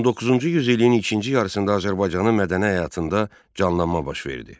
19-cu yüzilliyin birinci yarısında Azərbaycanın mədəni həyatında canlanma baş verdi.